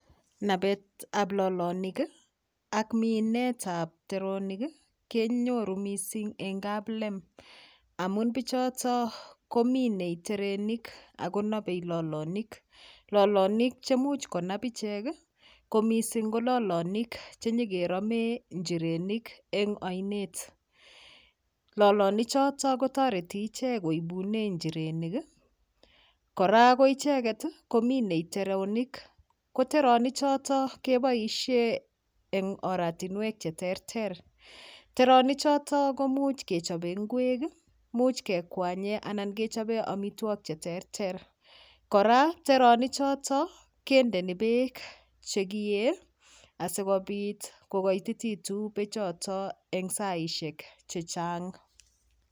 Napetab lolonik ak minetab teronik kenyoru mising eng kaplem amu pichoto kominei terenik akonobei lolonik lolonik chemuch konap ichek ko mising ko lolonik chenyikeromee njirenik eng oinet lolonichoto kotoreti iche koibune njirenik kora ko icheket kominei teronik ko teronichoto keboishe eng oratinwek cheterter teronichoto komuch kechobe ng'wek much kekwanye anan kechobe omitwok cheterter kora teronichoto kendeni beek chekie asikopit kokoitititu bechoto eng saishek chechang'